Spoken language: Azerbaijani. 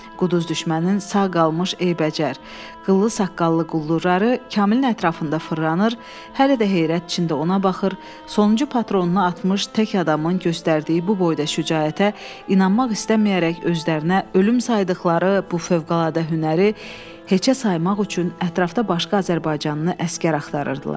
Quduz düşmənin sağ qalmış eybəcər, qıllı saqqallı quldurları Kamilin ətrafında fırlanır, hələ də heyrət içində ona baxır, sonuncu patronunu atmış tək adamın göstərdiyi bu boyda şücaətə inanmaq istəməyərək özlərinə ölüm saydıqları bu fövqəladə hünəri heçə saymaq üçün ətrafda başqa azərbaycanlı əsgər axtarırdılar.